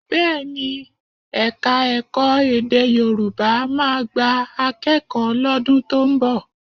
Bẹ́ẹ̀ ni, Ẹ̀ka-ẹ̀kọ́ èdè Yorùbá máa gba akẹ́kọ̀ọ́ lọ́dún tó ń nọ̀